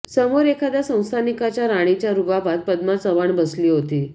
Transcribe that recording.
समोर एखाद्या संस्थानिकाच्या राणीच्या रुबाबात पद्मा चव्हाण बसली होती